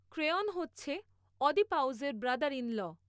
Creon হচ্ছে অদিপাউসের brother in law